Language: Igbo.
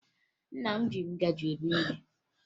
Nna m ji ngaji eri nri